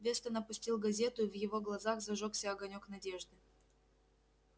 вестон опустил газету и в его глазах зажёгся огонёк надежды